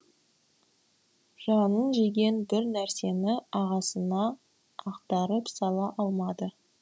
жанын жеген бір нәрсені ағасына ақтарып сала алмады